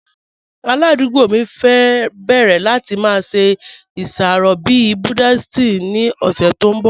Aládùgbò mi fẹ́ bẹ̀rẹ̀ láti má ṣe iṣàrọ̀ bí Buddhist ni ọ̀ṣẹ̀ tó nbọ̀.